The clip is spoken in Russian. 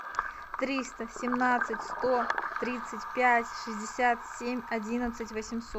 триста семнадцать сто тридцать пять шестьдесят семь одиннадцать восемьсот